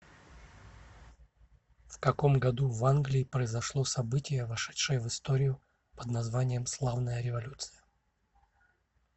в каком году в англии произошло событие вошедшее в историю под названием славная революция